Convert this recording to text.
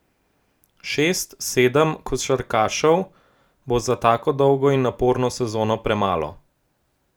Šest, sedem košarkarjev bo za tako dolgo in naporno sezono premalo.